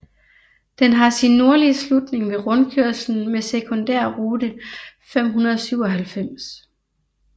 Den har sin nordlige slutning ved rundkørslen med sekundærrute 597